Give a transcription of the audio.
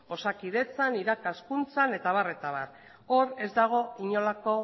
osakidetzan irakaskuntzan eta abar hor ez dago inolako